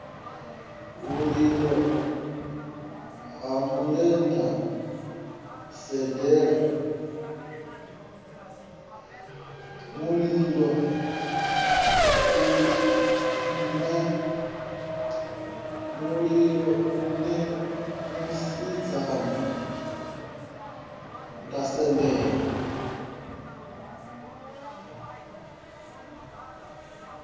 mulilo nṋe musidzana nda sendela